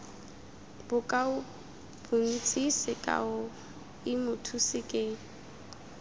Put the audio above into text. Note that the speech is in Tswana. bokaobontsi sekao i mothusi ke